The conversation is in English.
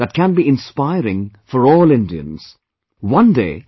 This is a story that can be inspiring for all Indians